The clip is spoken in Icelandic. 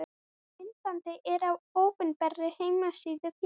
Myndbandið er á opinberri heimasíðu félagsins.